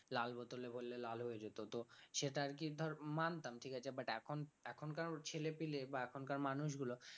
লাল bottle এ করলে লাল হয়ে যেত তো সেটা আর কি ধর মানতাম ঠিক আছে but এখন এখনকার ছেলেপেলে বা এখনকার মানুষগুলো